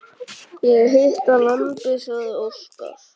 Ég hita lambið, sagði Óskar.